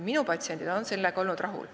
Minu patsiendid on olnud sellega rahul.